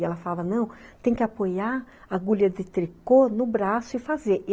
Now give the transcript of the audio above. E ela falava, não, tem que apoiar a agulha de tricô no braço e fazer.